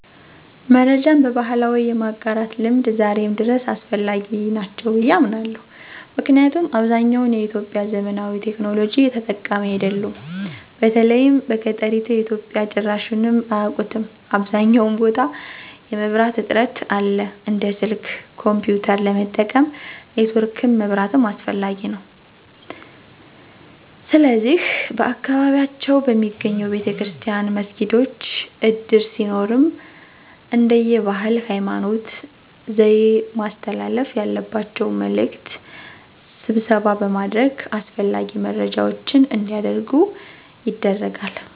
መረጃን በባህላዊ የማጋራት ልምድ ዛሬም ድረስ አስፈላጊ ናቸው ብየ አምናለሁ። ምክንያቱም አብዛኛውን ኢትዮጵያዊ ዘመናዊ ቴክኖሎጂ ተጠቃሚ አይደሉም። በተለይም በገጠሪቱ ኢትዮጵያ ጭራሹንም አያቁትም .አብዛኛውን ቦታ የመብራት እጥረት አለ። እንደ ስልክ፣ ኮንፒዩተር ለመጠቀም ኔትወርክም መብራትም አስፈላጊ ነዉ። ስለዚህ በየአካባቢያቸው በሚገኘው ቤተክርስቲያን፣ መስጊዶች፣ እድር ሲኖርም እንደየ ባህል፣ ሀይማኖት፣ ዘዬ ማስተላለፍ ያለባቸውን መልዕክት ስብሰባ በማድረግ አስፈላጊ መረጃዎች አንዲያደርጉ ይደረጋል።